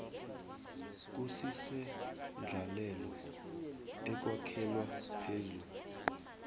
kusisendlalelo ekwakhelwa phezu